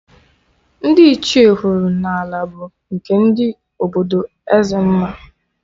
Ndị Ichie kwuru n'ala bụ nke ndị obodo ezzmma